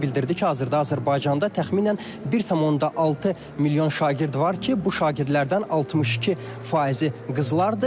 Bildirdi ki, hazırda Azərbaycanda təxminən 1.6 milyon şagird var ki, bu şagirdlərdən 62 faizi qızlardır.